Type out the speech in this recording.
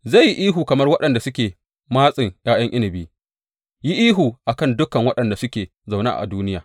Zai yi ihu kamar waɗanda suke matsin ’ya’yan inabi, yi ihu a kan dukan waɗanda suke zaune a duniya.